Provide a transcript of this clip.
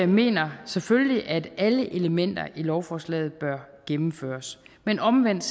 mener selvfølgelig at alle elementer i lovforslaget bør gennemføres men omvendt